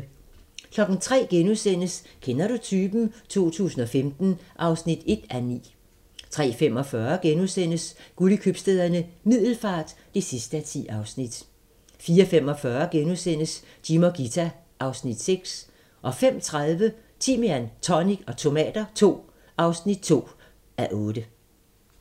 03:00: Kender du typen? 2015 (1:9)* 03:45: Guld i Købstæderne - Middelfart (10:10)* 04:45: Jim og Ghita (Afs. 6)* 05:30: Timian, tonic og tomater II (2:8)